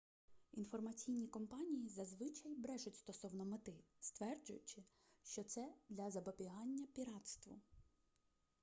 інформаційні компанії зазвичай брешуть стосовно мети стверджуючи що це для запобігання піратству